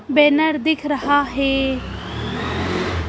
Banner दिख रहा है।